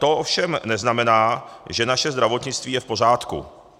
To ovšem neznamená, že naše zdravotnictví je v pořádku.